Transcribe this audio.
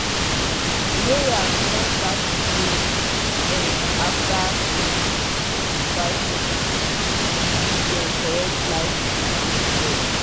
layers don start to lay egg after five months if you give dem correct light feed and care.